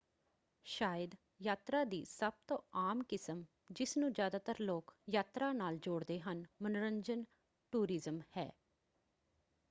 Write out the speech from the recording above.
ਸ਼ਾਇਦ ਯਾਤਰਾ ਦੀ ਸਭ ਤੋਂ ਆਮ ਕਿਸਮ ਜਿਸਨੂੰ ਜਿਆਦਾਤਰ ਲੋਕ ਯਾਤਰਾ ਨਾਲ ਜੋੜਦੇ ਹਨ: ਮਨੋਰੰਜਨ ਟੂਰਿਜ਼ਮ ਹੈ।